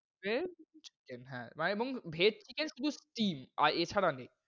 chicken এবং vege, chicken শুধু steel আর এছাড়া নেই।